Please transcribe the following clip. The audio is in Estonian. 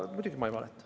Ja muidugi ma ei valeta.